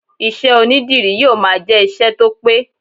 Iṣẹ́ onídìrí yóò máa jẹ ìṣe tó pẹ́.